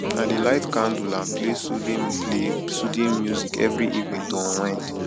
i dey light candle and play soothing play soothing music every evening to unwind